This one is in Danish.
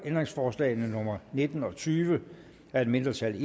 ændringsforslag nummer nitten og tyve af et mindretal